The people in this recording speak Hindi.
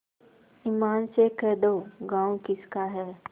ईमान से कह दो गॉँव किसका है